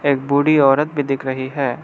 एक बूढी औरत भी दिख रही है।